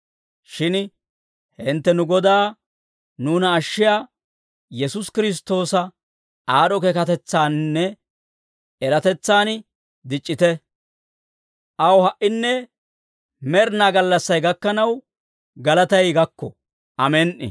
Shin hintte nu Godaa, nuuna ashshiyaa Yesuusi Kiristtoosa aad'd'o keekatetsaaninne eratetsan dic'c'ite. Aw ha"inne med'inaa gallassay gakkanaw galatay gakko. Amen"i.